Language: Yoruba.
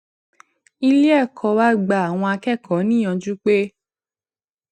ilé èkó wa gba àwọn akékòó níyànjú pé